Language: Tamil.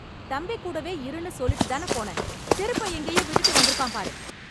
தம்பி கூடவே இருன்னு சொல்லிட்டுதான போனேன்... செருப்பை எங்கயோ விட்டுட்டு வந்துருக்கான் பாரு.